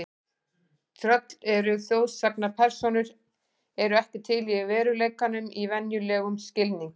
Tröll eru þjóðsagnapersónur eru ekki til í veruleikanum í venjulegum skilningi.